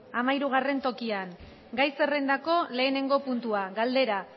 hamahirugarren tokian gai zerrendako lehenengo puntua galdera